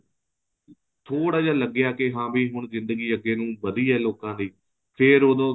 ਥੋੜਾ ਜਾ ਲੱਗਿਆ ਕੇ ਹਾਂ ਵੀ ਹੁਣ ਜ਼ਿੰਦਗੀ ਅੱਗੇ ਨੂੰ ਵਧੀ ਏ ਲੋਕਾਂ ਦੀ ਫ਼ੇਰ ਉਦੋਂ